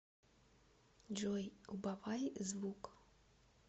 джой убавай звук